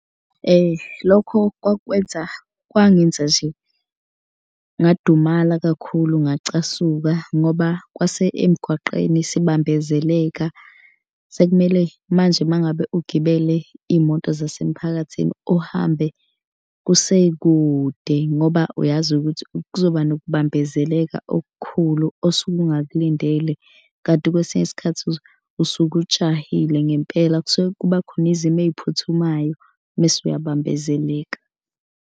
Lokho kwakwenza kwangenza nje ngadumala kakhulu ngacasuka ngoba kwase emgwaqeni sibambezeleka. Sekumele manje uma ngabe ugibele iy'moto zasemphakathini uhambe kusekude ngoba uyazi ukuthi kuzoba nokubambezeleka okukhulu osuke ungakulindele kanti kwesinye isikhathi usuke ujahile ngempela. Kusuke kuba khona izimo ey'phuthumayo mese uyabambezeleka.